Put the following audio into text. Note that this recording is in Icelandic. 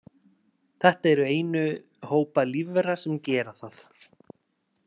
Þetta eru einu hópar lífvera sem gera það.